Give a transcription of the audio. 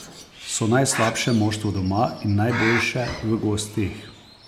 So najslabše moštvo doma in najboljše v gosteh!